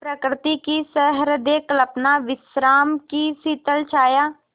प्रकृति की सहृदय कल्पना विश्राम की शीतल छाया